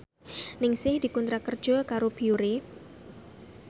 Ningsih dikontrak kerja karo Biore